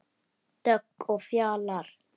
Dögg og Fjalar.